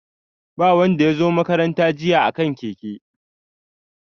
Ba wanda ya zo makaranta jiya a kan keke.